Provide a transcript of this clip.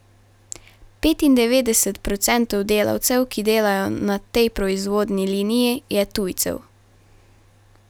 Petindevetdeset procentov delavcev, ki delajo na tej proizvodni liniji, je tujcev.